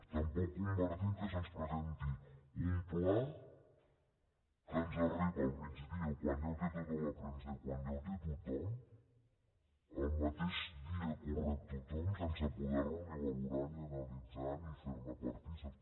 tampoc compartim que se’ns presenti un pla que ens arriba al migdia quan ja ho té tota la premsa i quan ja ho té tothom el mateix dia que el rep tothom sense poder lo ni valorar ni analitzar ni ser ne partícips